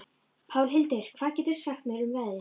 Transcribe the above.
Pálhildur, hvað geturðu sagt mér um veðrið?